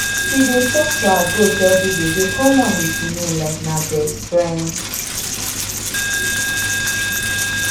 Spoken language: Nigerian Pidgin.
she dey talk to her goat everyday dey call am with im name like na best riend